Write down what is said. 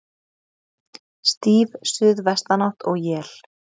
Stíf suðvestanátt og él